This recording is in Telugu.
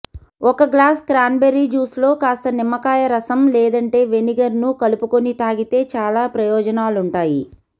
ఒక గ్లాస్ క్రాన్బెర్రీ జ్యూస్ లో కాస్త నిమ్మకాయ రసం లేదంటే వెనిగర్ ను కలుపుకుని తాగితే చాలా ప్రయోజనాలుంటాయి